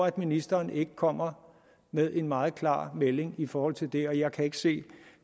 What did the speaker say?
at ministeren ikke kommer med en meget klar melding i forhold til det og jeg kan ikke se